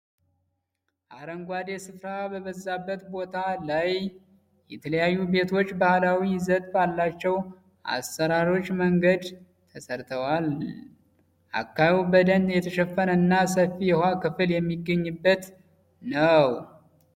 አረንጓዴ ስፍራ በበዛበት ቦታ ላይ የተለያዩ ቤቶች ባህላዊ ይዘት ባላቸው አሰራሮች መንገድ ተሰርተዋል። አካባቢው በደን የተሸፈነ እና ሰፊ የውሃ ክፍል የሚገኝበት ነው።